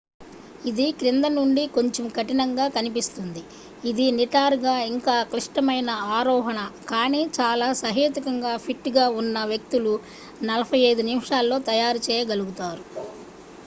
ఇది క్రింద నుండి కొంచెం కఠినంగా కనిపిస్తుంది ఇది నిటారుగా ఇంకా క్లిష్టమైన ఆరోహణ కానీ చాలా సహేతుకంగా ఫిట్ గా ఉన్న వ్యక్తులు 45 నిమిషాల్లో తయారు చేయగలుగుతారు